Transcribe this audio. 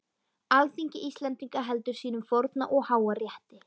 Alþingi Íslendinga heldur sínum forna og háa rétti!